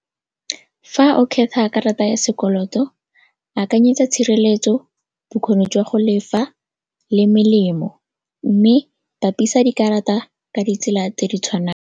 Fa o khetha karata ya sekoloto akanyetsa tshireletso, bokgoni jwa go lefa le melemo mme bapisa dikarata ka ditsela tse di tshwanang.